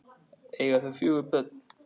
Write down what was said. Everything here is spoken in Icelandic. Eiga þau fjögur börn.